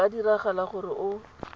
go ka diragala gore o